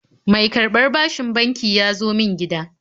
Mai karɓar bashin banki ya zo min gida